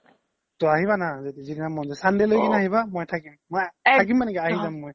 তো আহিবা না sunday লই কিনে আহিবা মই থাকিম, থাকিম মানে কি আহি যাম মই